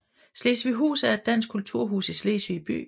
Slesvighus er et dansk kulturhus i Slesvig by